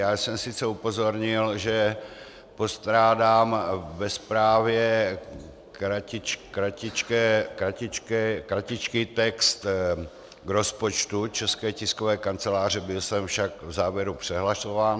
Já jsem sice upozornil, že postrádám ve zprávě kratičký text k rozpočtu České tiskové kanceláře, byl jsem však v závěru přehlasován.